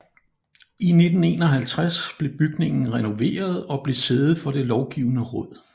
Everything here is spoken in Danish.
I 1951 blev bygningen renoveret og blev sæde for det Lovgivende Råd